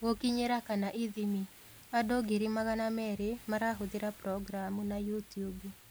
Gũkinyĩra / ithimi: Andũ ngiri magana merĩ marahũthĩra Programu na Youtube